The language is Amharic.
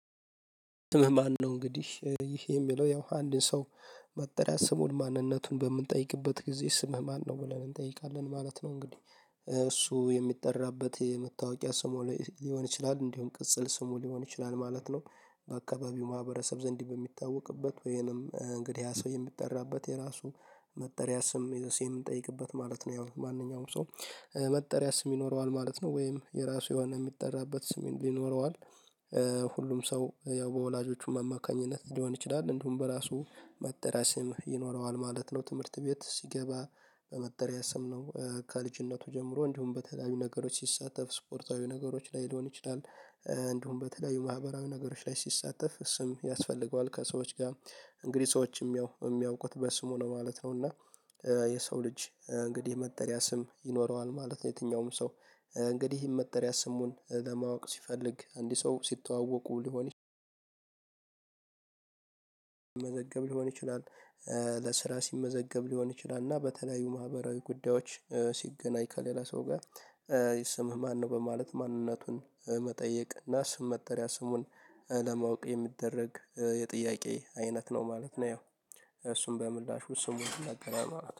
ስምህ ማነው እንግዲህ ይሄ የሚለው ያው አንድ ሰው መጠሪያ ስሙን ማንነቱን በምንጠይቅበት ጊዜ ስምህ ማነው? ብለን እንጠይቃለን ማለት ነው። እንግዲህ እሱ የሚጠራበት የምታወቂያ ስሙ ላይ ሊሆን ይችላል እንዲሆን ቅጽል ስሙ ሊሆን ይችላል ማለት ነው። በአካባቢው ማህበረሰብ ዘንድ በሚታወቅበት ወይንም እንግዲህ ያ ሰው የሚጠራበት የራሱ መጠሪያ ስም የሴን እንጠይቅበት ማለት ነው። ያው ማንኛውም ሰው መጠሪያ ስም ይኖረዋል ማለት ነው። ወይም የራሱ የሆነ የሚጠራበት ስም ይኖረዋል። ሁሉም ሰው ያው በወላጆቹም አማካኝነት ሊሆን ይችላል እንድሁም በራሱ መጠሪያ ስም ይኖረዋል ማለት ነው። ትምህርት ቤት ሲገባ በመጠሪያ ስም ነው። ከልጅነቱ ጀምሮ እንዲሁም በተለያዩ ነገሮች ሲሳተፍ ስፖርታዊ ነገሮች ላይ ሊሆን ይችላል። እንድሁም በተለያዩ ማህበራዊ ነገሮች ላይ ሲሳተፍ ስም ያስፈልገዋል ከሰዎች ጋር። እንግዲህ ሰዎች የሚያውቁት በስሙ ነው ማለት ነው። እና። የሰው ልጅ እንግዲህ መጠሪያ ስም ይኖረዋል ማለት ነው። የትኛውም ሰው እንግዲህ ይህን መጠሪያ ስሙን ለማወቅ ሲፈልግ እንዲህ ሰው ሲተዋወቁ ሊሆን ሲመዘገብ ሊሆን ይችላል። ለስራ ሲመዘገብ ሊሆን ይችላል እና በተለያዩ ማህበራዊ ጉዳዮች ሲገናኝ ከሌላ ሰው ጋር። ስምህ ማነው? በማለት ማንነቱን መጠየቅ እና ስም መጠሪያ ስሙን ለማወቅ የሚደረግ የጥያቄ አይነት ነው ማለት ነው። ያው እሱን በምላሹ ስሙን ይናገራል ማለት ነው